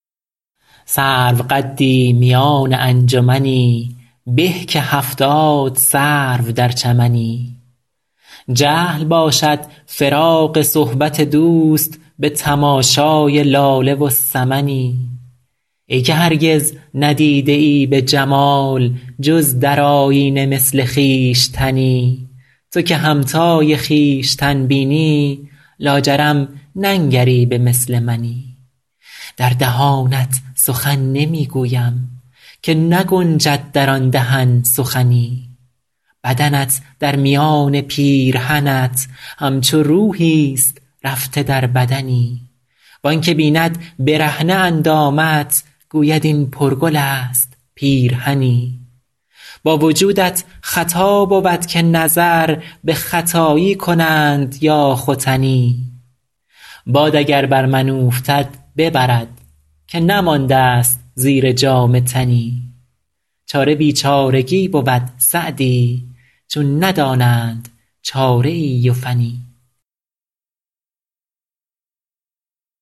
سروقدی میان انجمنی به که هفتاد سرو در چمنی جهل باشد فراق صحبت دوست به تماشای لاله و سمنی ای که هرگز ندیده ای به جمال جز در آیینه مثل خویشتنی تو که همتای خویشتن بینی لاجرم ننگری به مثل منی در دهانت سخن نمی گویم که نگنجد در آن دهن سخنی بدنت در میان پیرهنت همچو روحیست رفته در بدنی وآن که بیند برهنه اندامت گوید این پرگل است پیرهنی با وجودت خطا بود که نظر به ختایی کنند یا ختنی باد اگر بر من اوفتد ببرد که نمانده ست زیر جامه تنی چاره بیچارگی بود سعدی چون ندانند چاره ای و فنی